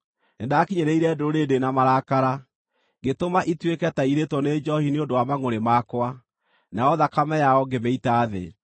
Nĩndakinyĩrĩirie ndũrĩrĩ ndĩ na marakara, ngĩtũma ituĩke ta irĩĩtwo nĩ njoohi nĩ ũndũ wa mangʼũrĩ makwa, nayo thakame yao ngĩmĩita thĩ.”